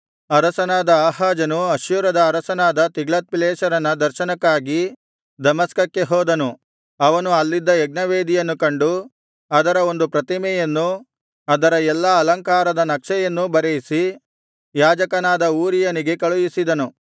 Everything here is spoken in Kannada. ಅರಸನಾದ ಆಹಾಜನು ಅಶ್ಶೂರದ ಅರಸನಾದ ತಿಗ್ಲತ್ಪಿಲೆಸೆರನ ದರ್ಶನಕ್ಕಾಗಿ ದಮಸ್ಕಕ್ಕೆ ಹೋದನು ಅವನು ಅಲ್ಲಿದ್ದ ಯಜ್ಞವೇದಿಯನ್ನು ಕಂಡು ಅದರ ಒಂದು ಪ್ರತಿಮೆಯನ್ನೂ ಅದರ ಎಲ್ಲಾ ಅಲಂಕಾರದ ನಕ್ಷೆಯನ್ನೂ ಬರೆಯಿಸಿ ಯಾಜಕನಾದ ಊರೀಯನಿಗೆ ಕಳುಹಿಸಿದನು